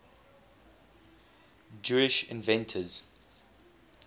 jewish inventors